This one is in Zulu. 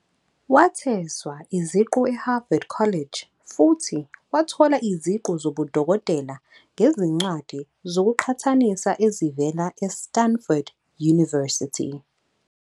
Wathweswa iziqu eHarvard College, futhi wathola iziqu zobudokotela ngezincwadi zokuqhathanisa ezivela eStanford University.